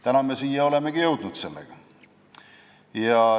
Täna olemegi jõudnud sellega siia.